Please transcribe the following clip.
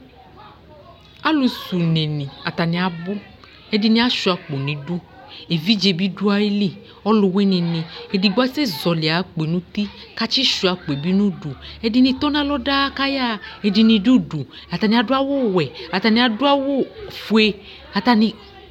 Alʋ s'unenɩ atanɩ abʋ :ɛdɩnɩ asʋɩakpo n'idu Evidze bɩ dʋ ayili ɔlʋwɩnɩ nɩ; edigbo asɛ zɔɔlɩ ay'akpoe n'uti k'atsɩ sʋɩa akpoe bɩ n'udu ɛdɩnɩ tɔ n'alɔ daa k'ayaɣa ɛdɩnɩ d'udu Ɛdɩnɩ adʋ awʋ wɛ , ɛdɩnɩ adʋ awʋfue , atanɩ